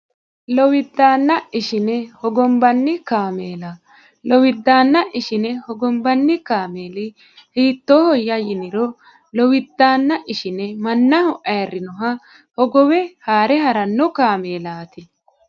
lowiddannaa ishine hogombanni kaameela lowiddaanna ushine higombanni kaameeli hiittohoyya yiniro lowiddaanna ishine mannaho ayrrinnoha hogowe haare haranno maakiinaati